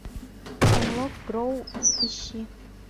хемлок гроув ищи